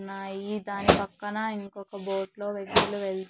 ఉన్నాయి దాని పక్కన ఇంకొక బోట్ లో వెహికల్ వెల్--